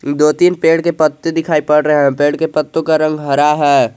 दो तीन पेड़ के पत्ते दिखाई पड़ रहे हैं पेड़ के पत्तों का रंग हरा है।